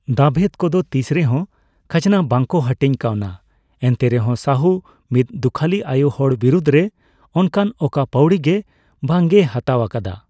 ᱫᱟᱵᱷᱮᱫᱽ ᱠᱚᱫᱚ ᱛᱤᱥ ᱨᱮᱦᱚᱸ ᱠᱷᱟᱡᱽᱱᱟ ᱵᱟᱝᱠᱚ ᱦᱟᱴᱤᱧ ᱠᱟᱣᱱᱟ, ᱮᱱᱛᱮᱨᱮᱦᱚᱸ ᱥᱟᱦᱩ ᱢᱤᱫ ᱫᱩᱠᱷᱟᱹᱞᱤ ᱟᱭᱳ ᱦᱚᱲ ᱵᱤᱨᱩᱫᱽ ᱨᱮ ᱚᱱᱠᱟᱱ ᱚᱠᱟ ᱯᱟᱹᱣᱲᱤ ᱜᱮ ᱵᱟᱝ ᱮ ᱦᱟᱛᱟᱣ ᱟᱠᱟᱫᱟ ᱾